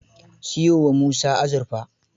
Siyo wa Musa azurfa.